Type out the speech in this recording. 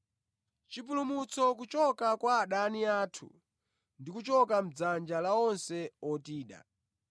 chipulumutso kuchoka kwa adani athu ndi kuchoka mʼdzanja la onse otida,